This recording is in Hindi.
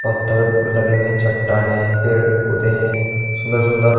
तर लगे हुए हैं चट्टानें हैं पेड़ पौधे हैं सुंदर सुंदर --